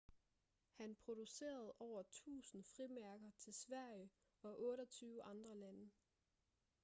han producerede over 1.000 frimærker til sverige og 28 andre lande